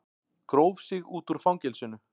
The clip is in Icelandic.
Gróf sig út úr fangelsinu